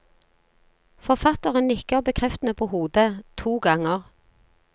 Forfatteren nikker bekreftende på hodet, to ganger.